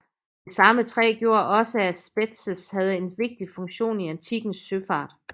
Det samme træ gjorde også at Spetses havde en vigtig funktion i antikkens søfart